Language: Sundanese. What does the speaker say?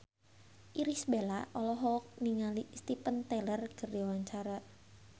Irish Bella olohok ningali Steven Tyler keur diwawancara